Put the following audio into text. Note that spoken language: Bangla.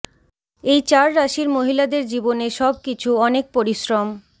এই চার রাশির মহিলাদের জীবনে সব কিছু অনেক পরিশ্রম